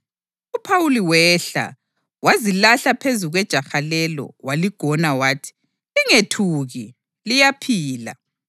UPhawuli wehla, wazilahla phezu kwejaha lelo waligona wathi, “Lingethuki, liyaphila!”